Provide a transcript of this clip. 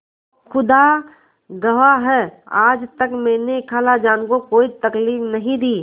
खुदा गवाह है आज तक मैंने खालाजान को कोई तकलीफ नहीं दी